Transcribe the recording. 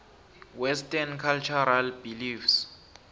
western cultural beliefs